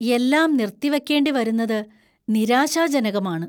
എല്ലാം നിർത്തിവയ്ക്കേണ്ടിവരുന്നത് നിരാശാജനകമാണ്.